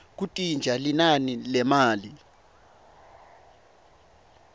kuntintja linani lemali